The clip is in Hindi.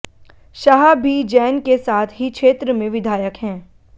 शाह भी जैन के साथ ही क्षेत्र से विधायक हैं